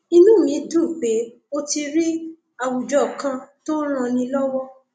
inú mi dùn pé o ti rí àwùjọ kan tó ń ranni lọwọ